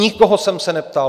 Nikoho jsem se neptal.